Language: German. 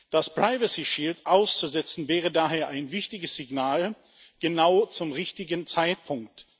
Das Privacy Shield auszusetzen wäre daher ein wichtiges Signal, genau zum richtigen Zeitpunkt.